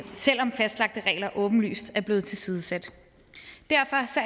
selv om fastlagte regler åbenlyst er blevet tilsidesat derfor